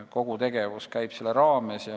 Kogu tegevus käib selle raames.